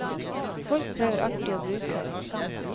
Folk prøver alltid å bruke oss.